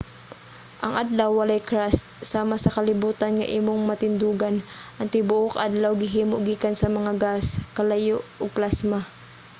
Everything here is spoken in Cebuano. ang adlaw walay crust sama sa kalibutan nga imong matindugan. ang tibuok adlaw gihimo gikan sa mga gas kalayo ug plasma